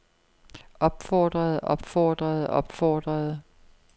opfordrede opfordrede opfordrede